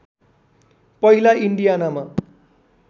पहिला इन्डियानामा